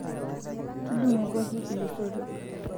tudungoikoki ilosotok